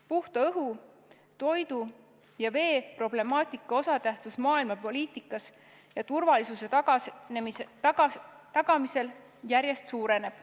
Puhta õhu, toidu ja vee problemaatika osatähtsus maailmapoliitikas ja turvalisuse tagamisel järjest suureneb.